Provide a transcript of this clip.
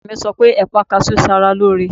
Dókítà mi sọ pé ẹ̀pà kaṣú ń ṣe ara lóore.